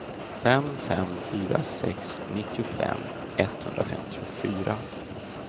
fem fem fyra sex nittiofem etthundrafemtiofyra